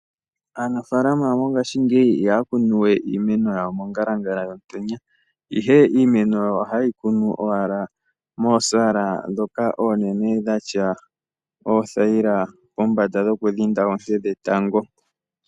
Aanafalama mongashingeyi ihaya kunu we iimeno yawo mongalangala yomutenya, ihe iimeno ohaye yi kunu owala moosala dhoka oonene dhi na oothayila pombanda dhokudhinda oonte dhetango.